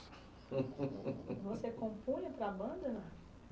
Você compunha para a banda?